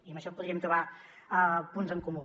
i en això hi podríem trobar punts en comú